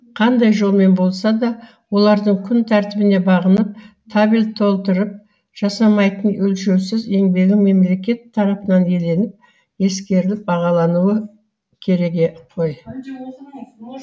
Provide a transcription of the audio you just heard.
қандай жолмен болса да олардың күн тәртібіне бағынып табель толтырып жасамайтын өлшеусіз еңбегі мемлекет тарапынан еленіп ескеріліп бағалануы керегі ғой